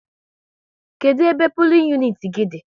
Kedụ ebe pulin uniti gị dị?